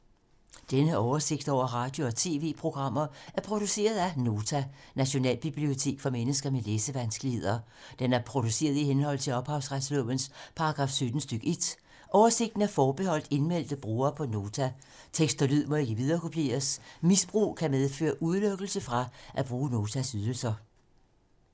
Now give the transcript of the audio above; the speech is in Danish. Denne oversigt over radio og TV-programmer er produceret af Nota, Nationalbibliotek for mennesker med læsevanskeligheder. Den er produceret i henhold til ophavsretslovens paragraf 17 stk. 1. Oversigten er forbeholdt indmeldte brugere på Nota. Tekst og lyd må ikke viderekopieres. Misbrug kan medføre udelukkelse fra at bruge Notas ydelser.